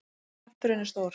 Kjafturinn er stór.